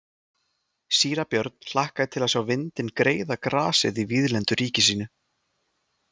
Síra Björn hlakkaði til að sjá vindinn greiða grasið í víðlendu ríki sínu.